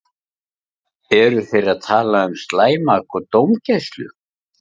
Eru þeir að tala um slæma dómgæslu?